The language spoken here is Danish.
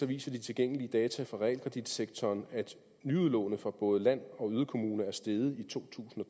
viser de tilgængelige data for realkreditsektoren at nyudlånet for både land og yderkommuner er steget i to tusind og